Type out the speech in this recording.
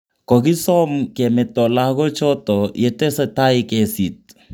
Kogisom kemeto lagoochoto yetesetai kesiit